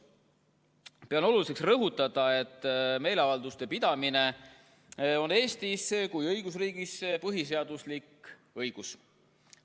Pean oluliseks rõhutada, et meeleavalduste pidamine on Eestis kui õigusriigis põhiseaduslik õigus.